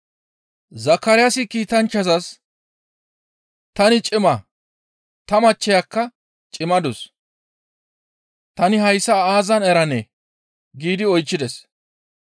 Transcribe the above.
Zakaraasi kiitanchchazas, «Tani cima; ta machcheyakka cimmadus; tani hayssa aazan eranee?» giidi oychchides.